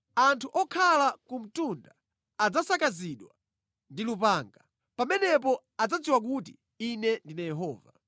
Anthu okhala ku mtunda adzasakazidwa ndi lupanga. Pamenepo adzadziwa kuti Ine ndine Yehova.